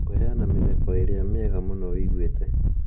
kũheana mĩtheko ĩrĩa mienga mũno ũiguĩte